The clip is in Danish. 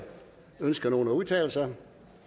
ønsker nogen at udtale sig